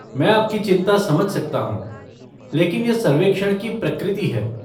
मैं आपकी चिंता समझ सकता हूँ, लेकिन यह सर्वेक्षण की प्रकृति है।